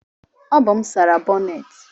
Ọ bụ m sara bonnet